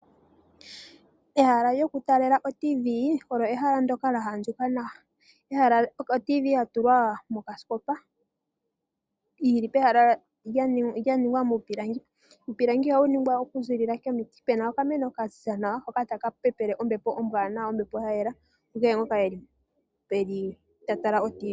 Ehala lyokutalela o TV olo ehala ndoka lya andjuka nawa. o TV yatulwa mokasikopa yili pehala lya ningwa miipilangi .iipilangi ohayi ningwa okuziilila komiti ,Pena okameno kaziza nawa hoka taka pepele ombepo ombwanawa, ombepo yayela kukehe ngoka eli ta tala o TV